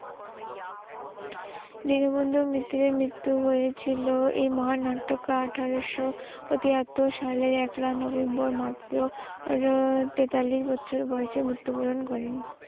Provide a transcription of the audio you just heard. দীনবন্ধু মিত্রের মৃত্যু হয়েছিল এ মহান নাট্যকার আঠারোশ তিয়াত্তর সালে পহেলা নভেম্বর মাত্র তেতাল্লিশ বছর বয়সে মৃত্যু বরণ করেন।